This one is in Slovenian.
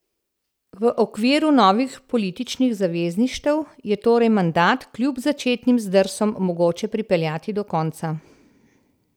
V okviru novih političnih zavezništev je torej mandat kljub začetnim zdrsom mogoče pripeljati do konca.